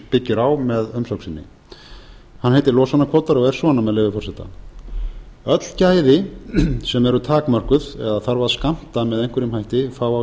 byggir á með umsögn sinni hann heitir losunarkvótar og er svona með leyfi forseta öll gæði sem eru takmörkuð eða þarf að skammta með einhverjum hætti fá á